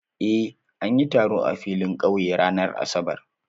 Eh, an yi taro a filin ƙauye ranar Asabar.